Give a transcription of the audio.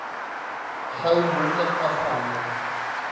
gou moontlik afgehandel